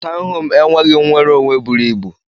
Tọwn home enweghi nwere onwe buru ibu.